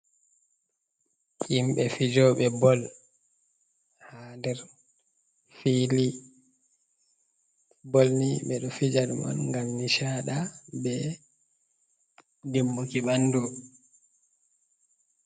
Himbe fijobe ball ha nder fili ball ni, bedo fija man ngam nishadi, be dimbuki bandu.